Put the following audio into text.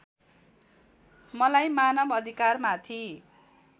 मलाई मानव अधिकारमाथि